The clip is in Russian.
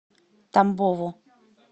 тамбову